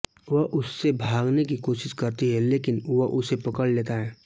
वह उससे भागने की कोशिश करती है लेकिन वह उसे पकड़ लेता है